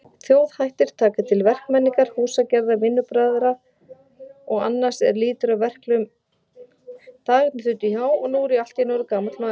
Dagarnir þutu hjá, og nú er ég allt í einu orðinn gamall maður.